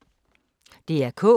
DR K